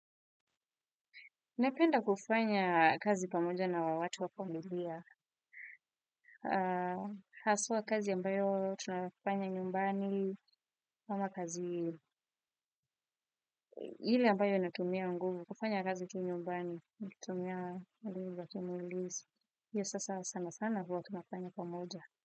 Naipenda kufanya kazi pamoja na wawatu wa familia. Haswa kazi ambayo tunafanya nyumbani, kama kazi hili ambayo inatumia unguvu, kufanya kazi tu nyumbani, tumia alivu watumulis. Iyo sasa sana sana huwa tunafanya pamoja.